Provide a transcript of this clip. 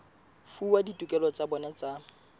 fuwa ditokelo tsa bona tsa